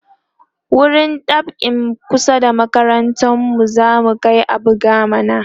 wurin dab'in kusa da makarantar mu zamu Kai a buga mana